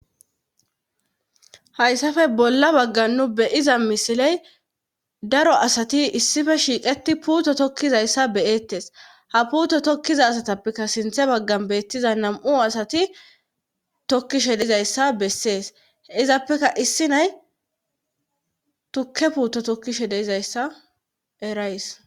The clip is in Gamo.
Hayssafe bolla baggan nu beyiza misiley daro asati issife shiiqeti puuto tokkizayssa beyettes ha puuto tokkiza asatappeka sinthe baggan beettiza nam7u asati tokkishe dizayssa bessees izappeka issi nay tukke puuto tokkishe deizayssa erays